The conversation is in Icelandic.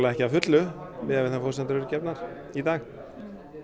ekki að fullu miðað við þær forsendur sem eru gefnar í dag